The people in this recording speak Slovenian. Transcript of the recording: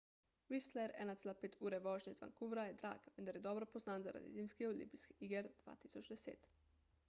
whistler 1,5 ure vožnje iz vancouvra je drag vendar je dobro poznan zaradi zimskih olimpijskih iger 2010